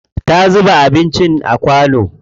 Ta zuba anincin a kwano.